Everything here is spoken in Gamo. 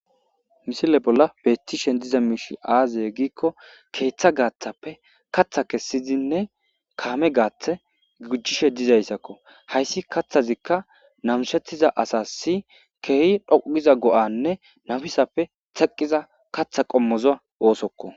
misile bolla beettishen diza miishi aaze giikko keeththa gaathappe katha kessizinne kaame gaathe gujishe dizayssakko hayssi kathazikka namishettiza asasi keehi dhoqu giza go7anne nafisappe theqqiza katha qommoza oosokko.